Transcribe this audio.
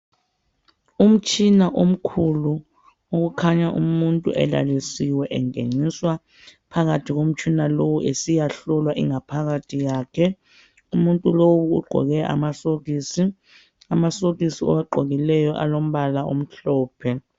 Umtshina omkhulu okukhanya umuntu elalisiwe engeniswa phakathi komtshina lowo esiyahlolwa ingaphakathi yakhe umuntu lo ugqoke amasokisi amasokisi awagqokileyo alombala omhlophe.